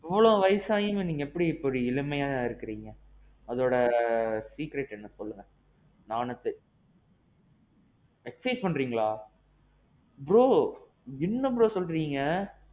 எவ்வளவு வயசு ஆயும் எப்பிடி இப்பிடி இளமையா இருக்கிறீங்க? அதோட secret என்ன சொல்லுங்க? நாணத்து. Exercise பண்றீங்களா? bro என்ன bro சொல்றீங்க?